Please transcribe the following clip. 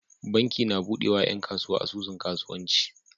Banki na buɗe wa yan kasuwa asusun kasuwanci